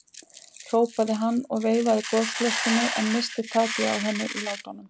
hrópaði hann og veifaði gosflöskunni, en missti takið á henni í látunum.